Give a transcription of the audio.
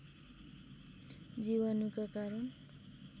जीवाणुका कारण